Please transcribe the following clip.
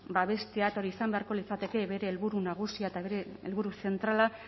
babestea eta hori izan beharko litzateke bere helburu nagusia eta bere helburu zentrala